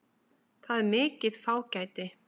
Það er mikið fágæti.